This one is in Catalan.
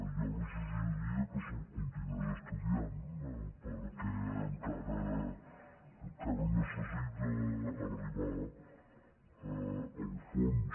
jo li suggeriria que se’l continués estudiant perquè encara necessita arribar al fons